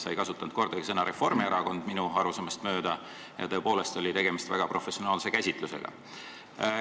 Sa ei kasutanud minu arusaamist mööda kordagi sõna "Reformierakond" ja tõepoolest oli tegemist väga professionaalse käsitlusega.